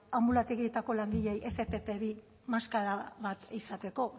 anbulategietako langileei efe efe pe bi maskara bat izateko